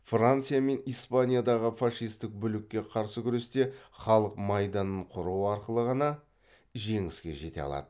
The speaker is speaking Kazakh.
франция мен испаниядағы фашистік бүлікке қарсы күресте халық майданын құру арқылы ғана жеңіске жете алады